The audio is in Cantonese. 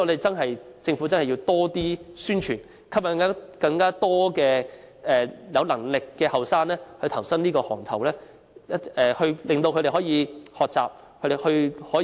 所以，政府真要多作宣傳，吸引更多有能力的年青人投身這個行業，令他們學習和有更高的可塑性。